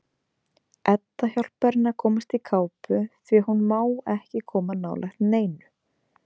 Edda hjálpar henni að komast í kápu því að hún má ekki koma nálægt neinu.